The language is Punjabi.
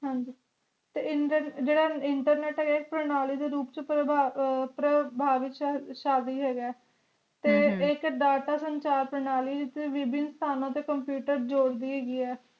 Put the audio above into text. ਹਾਂ ਜੀ ਤੇ ਜੇਰਾ internet ਹੈਗਾ knowledge ਦੇ ਰੂਪ ਛ ਪ੍ਰਬਾਵਿਸ਼ ਹੈਗਾ ਹਮ ਤੇ ਇਕ ਡਾਟਾ ਸਾਨੂ ਚਾਰ ਪ੍ਰਣਾਲੀ ਵਿਚ ਵੀਬੇਨ ਸਾਨੂ ਤੇ computer ਨੂੰ ਜੋੜਦੀ ਹੈਗੀਆਂ